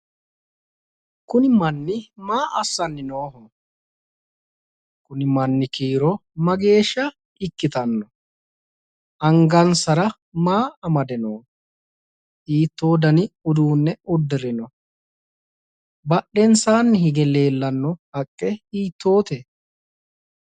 Kuni manni maa assanni nooho? Kuni manni kiiro mageeshsha ikkitanno? Angansara maa amade nooho? Hiittoo dani uduunne uddirino badhensaanni huge leeltanno haqqe hiittoote?